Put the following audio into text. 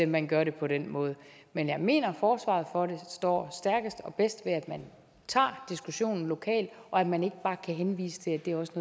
man gør det på den måde men jeg mener at forsvaret for det står stærkest og bedst ved at man tager diskussionen lokalt og at man ikke bare kan henvise til at det også